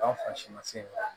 Anw fasi ma se